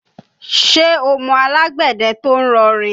Ṣé o mọ alágbẹ̀dẹ tó ń rọ rìn?